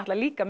líka